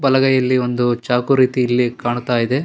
ಬಲಗೈಯಲ್ಲಿ ಒಂದು ಚಾಕು ರೀತಿ ಇಲ್ಲಿ ಕಾಣ್ತಾ ಇದೆ.